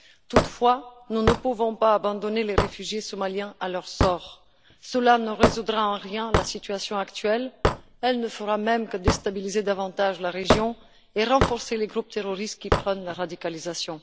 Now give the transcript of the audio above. Toutefois, nous ne pouvons pas abandonner les réfugiés somaliens à leur sort, cela ne résoudra en rien la situation actuelle et n'aura pour effet que de déstabiliser davantage la région et de renforcer les groupes terroristes qui prônent la radicalisation.